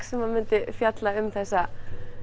sem myndi fjalla um þessa